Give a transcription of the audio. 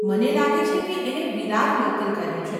મને લાગે છે કે એને વિરાર લોકલ કહે છે.